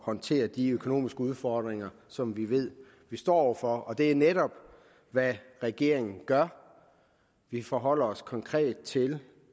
håndtere de økonomiske udfordringer som vi ved vi står over for og det er netop hvad regeringen gør vi forholder os konkret til